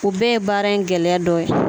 U bɛɛ ye baara in gɛlɛya dɔ ye